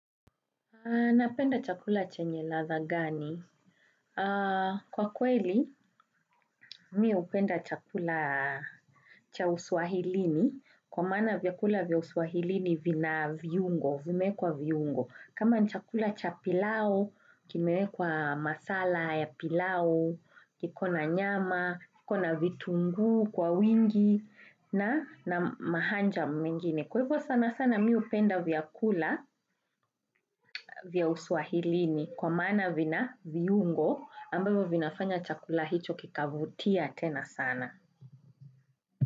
Napenda chakula chenye ladha gani? Kwa kweli, mi hupenda chakula cha uswahilini kwa maana vyakula vya uswahilini vina viungo, vimeekwa viungo. Kama ni chakula cha pilau, kimewekwa masala ya pilau, kikona nyama, kikona vitunguu kwa wingi na mahanjam mengine. Kwa hivyo sana sana mi hupenda vyakula vya uswahilini kwa maana vina viungo ambayo vinafanya chakula hicho kikavutia tena sana.